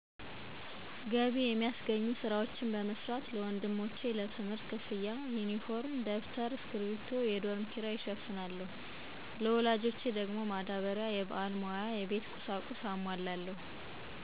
ገቢ የሚያስገኙ ስራዎችን በመስራት ለወንድሞቼ ለትምህርት ክፍያ፣ ዩኒፎርም፣ ደብተር፣ እስኪርቢቶ፣ የዶርም ኪራይ እሸፍናለሁ። ለወላጆች ደግሞ ማዳበሪያ፣ የበዓል መዋያ፣ የቤት ቁሳቁስ አሟላለሁ።